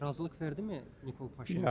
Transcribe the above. Razılıq verdi mi Nikol Paşinyan?